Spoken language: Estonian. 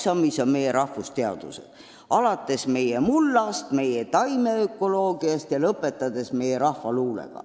Selleks oksaks on Eesti rahvusteadused alates meie mullateadusest, meie taimeökoloogiast ja lõpetades meie rahvaluulega.